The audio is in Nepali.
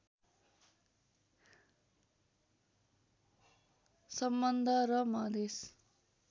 सम्बन्ध र मधेश